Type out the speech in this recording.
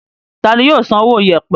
Tani yóò san owó yèèpẹ̀?